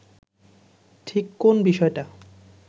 ঠিক কোন বিষয়টা